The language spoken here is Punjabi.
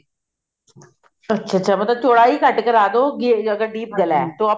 ਅੱਛਾ ਮਤਲਬ ਚੋੜਾਈ ਘੱਟ ਕਰ ਦਿਓ ਜੇ deep ਗਲਾ